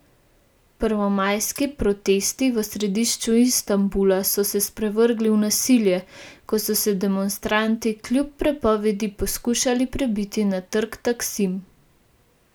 Prvomajski protesti v središču Istanbula so se sprevrgli v nasilje, ko so se demonstranti kljub prepovedi pokušali prebiti na trg Taksim.